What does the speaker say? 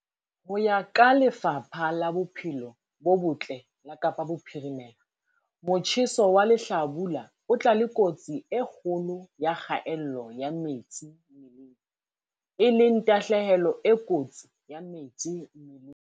Ho ya ka Lefapha la Bophelo bo Botle la Kapa Bophirimela, motjheso wa lehlabula o tla le kotsi e kgolo ya kgaello ya metsi mmeleng, e leng tahlehelo e kotsi ya metsi mmeleng.